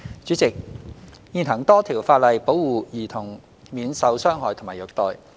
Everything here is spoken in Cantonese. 主席，現行多項法例保護兒童免受傷害及虐待。